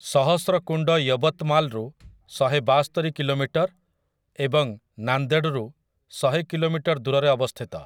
ସହସ୍ରକୁଣ୍ଡ ୟବତ୍ମାଲ୍‌ରୁ ଶହେବାସ୍ତରି କିଲୋମିଟର୍ ଏବଂ ନାନ୍ଦେଡ଼ରୁ ଶହେ କିଲୋମିଟର୍ ଦୂରରେ ଅବସ୍ଥିତ ।